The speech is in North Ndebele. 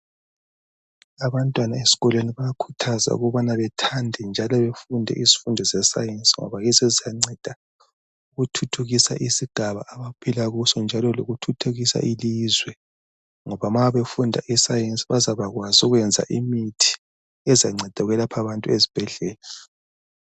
Abantwana esikoleni bayakhuthazwa ukubana bethande njalo befunde isifundo sescience, ngoba yiso esiyanceda ukuthuthukisa isigaba abaphilakuso, njalo lokuthuthukisa ilizwe. Ngoba ma befunda iscience bazabakwazi ukwenza imithi, ezanceda ukwelapha abantu ezibhedlela.